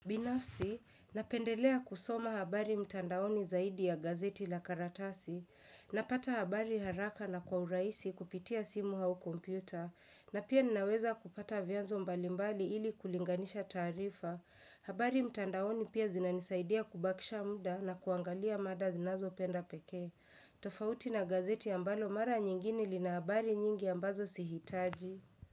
Binafsi, napendelea kusoma habari mtandaoni zaidi ya gazeti la karatasi. Napata habari haraka na kwa urahisi kupitia simu au kompyuta. Na pia ninaweza kupata vianzo mbalimbali ili kulinganisha tarifa. Habari mtandaoni pia zinanisaidia kubakisha muda na kuangalia mada ninazopenda pekee. Tofauti na gazeti ambalo mara nyingine lina habari nyingi ambazo sihitaji.